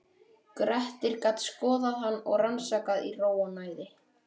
Grettir gat skoðað hann og rannsakað í ró og næði.